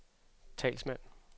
talsmand